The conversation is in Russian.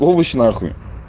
овощ нахуй